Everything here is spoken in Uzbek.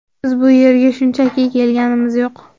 Biz bu yerga shunchaki kelganimiz yo‘q.